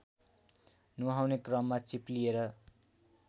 नुहाउने क्रममा चिप्लिएर